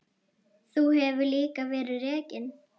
Þar hefur líka verið rekin